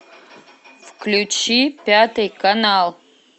включи пятый канал